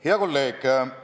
Hea kolleeg!